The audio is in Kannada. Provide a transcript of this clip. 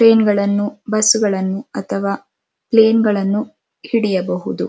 ಟ್ರೈನ್ಗಳನ್ನು ಬಸ್ಗಳನ್ನು ಅಥವಾ ಪ್ಲೇನ್ ಗಳನ್ನು ಹಿಡಿಯಬಹುದು.